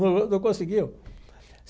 Não não conseguiu.